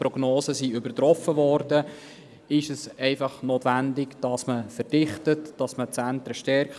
Die Prognosen wurden übertroffen, somit ist die Verdichtung und die Stärkung der Zentren notwendig.